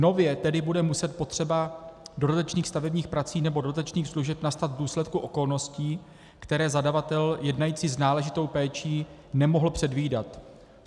Nově bude tedy muset potřeba dodatečných stavebních prací nebo dodatečných služeb nastat v důsledku okolností, které zadavatel jednající s náležitou péčí nemohl předvídat.